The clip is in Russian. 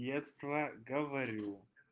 детство говорю